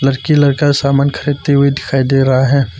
लड़की लड़का सामान खरीदते हुए दिखाई दे रहा है।